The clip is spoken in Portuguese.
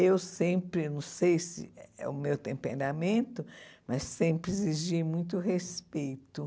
Eu sempre, não sei se é o meu temperamento, mas sempre exigi muito respeito.